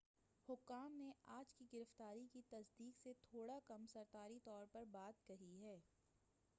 حکام نے آج کی گرفتاری کی تصدیق سے تھوڑا کم سرکاری طور پر بات کہی ہے